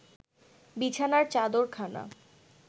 বিছানার চাদরখানা